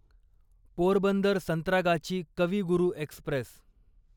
पोरबंदर संत्रागाची कवी गुरू एक्स्प्रेस